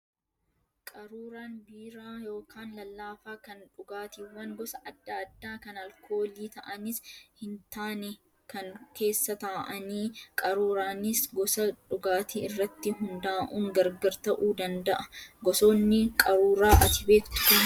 Qaruuraan biiraa yookaan lallaafaa kan dhugaatiiwwan gosa adda addaa kan alkoolii ta'anis hin taane kan keessa taa'anidha. Qaruuraanis gosa dhugaatii irratti hundaa'uun gargar ta'uu danda'a. Gosoonni qaruuraa ati beektu kam fa'i?